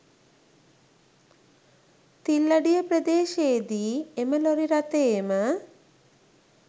තිල්ලඩිය ප්‍රදේශයේ දී එම ලොරි රථයේම